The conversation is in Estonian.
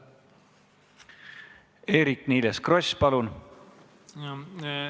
Eerik-Niiles Kross, palun!